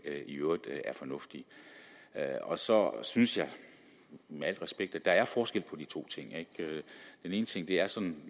i øvrigt er fornuftigt så synes jeg med al respekt at der er forskel på de to ting den ene ting er sådan